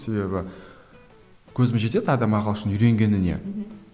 себебі көзім жетеді адам ағылшын үйренгеніне мхм